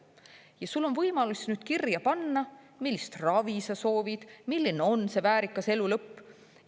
Ja sul on võimalus nüüd kirja panna, millist ravi sa soovid, milline on see väärikas elu lõpp.